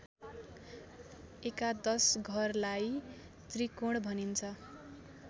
एकादश घरलाई त्रिकोण भनिन्छ